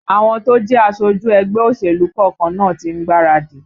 Àwọn tó jẹ́ aṣojú ẹgbẹ́ òṣèlú kọ̀ọ̀kan náà tí ń gbáradì